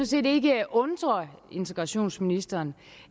set ikke undre integrationsministeren